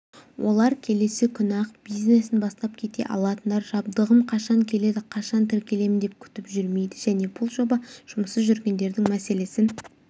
олар келесі күні-ақ бизнесін бастап кете алатындар жабдығым қашан келеді қашан тіркелемін деп күтіп жүрмейді және бұл жоба жұмыссыз жүргендердің мәселесін